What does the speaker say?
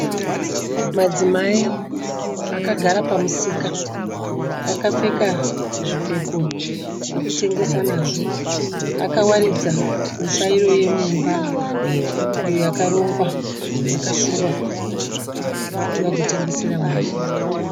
Madzimai akagara pamusika akapfeka zvipfeko zvekutengesa nazvo akawaridza mitsvairo yemumba iyo yakarongwa yakasungwa kuti vagotengesera vanhu.